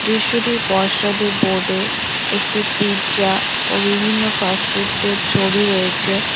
দৃশ্যটির পশ্চাদে বোর্ডে একটি পিজ্জা ও বিভিন্ন ফাস্ট ফুডের ছবি রয়েছে।